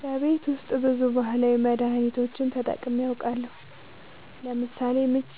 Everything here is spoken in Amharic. በቤት ውስጥ ብዙ ባህላዊ መድሀኒቶችን ተጠቅሜ አውቃለሁ ለምሳሌ ምች